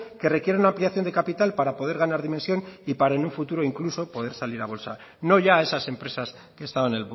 que requieren una ampliación de capital para poder ganar dimensión y para en un futuro incluso poder salir a bolsa no ya a esas empresas que estaban